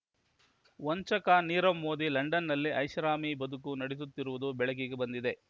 ವಂಚಕ ನೀರವ್ ಮೋದಿ ಲಂಡನ್‌ನಲ್ಲಿ ಐಷಾರಾಮಿ ಬದುಕು ನಡೆಸುತ್ತಿರುವುದು ಬೆಳಕಿಗೆ ಬಂದಿದೆ